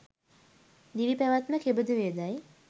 දිවිපැවැත්ම කෙබඳුවේදැයි